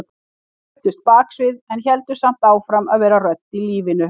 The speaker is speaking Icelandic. Fluttust baksviðs en héldu samt áfram að vera rödd í lífinu.